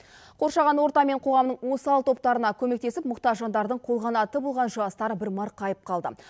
қоршаған орта мен қоғамның осал топтарына көмектесіп мұқтаж жандардың қолқанаты болған жастар бір марқайып қалды